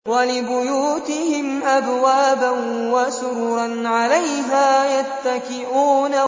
وَلِبُيُوتِهِمْ أَبْوَابًا وَسُرُرًا عَلَيْهَا يَتَّكِئُونَ